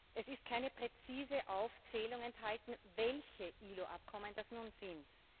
Es ist keine präzise Aufzählung enthalten, welche ILO Abkommen das nun sind.